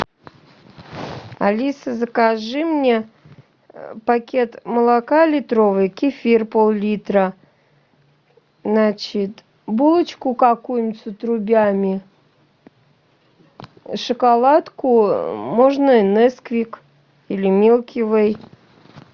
алиса закажи мне пакет молока литровый кефир пол литра значит булочку какую нибудь с отрубями шоколадку можно несквик или милки вей